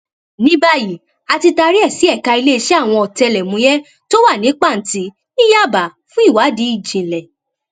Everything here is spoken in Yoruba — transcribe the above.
ní báyìí a ti taari ẹ sí ẹka iléeṣẹ àwọn ọtẹlẹmúyẹ tó wà ní pàǹtí ní yábà fún ìwádìí ìjìnlẹ